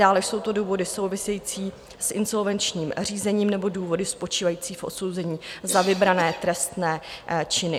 Dále jsou to důvody související s insolvenčním řízením nebo důvody spočívající v odsouzení za vybrané trestné činy.